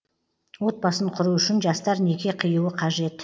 отбасын құру үшін жастар неке қиюы қажет